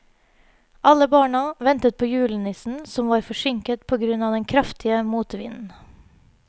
Alle barna ventet på julenissen, som var forsinket på grunn av den kraftige motvinden.